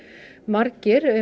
margir